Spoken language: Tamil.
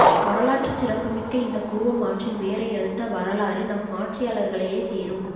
வரலாற்றுச் சிறப்புமிக்க இந்த கூவம் ஆற்றின் வேரை அறுத்த வரலாறு நம் ஆட்சியாளர்களையே சேரும்